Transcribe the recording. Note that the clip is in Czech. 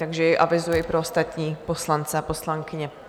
Takže jej avizuji pro ostatní poslance a poslankyně.